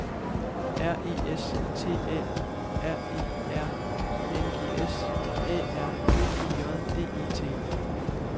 R E S T A U R E R I N G S A R B E J D E T